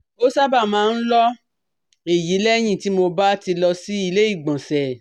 Ó sábà máa ń lọ èyí lẹ́yìn tí mo bá ti lọ sí ilé ìgbọ̀nsẹ̀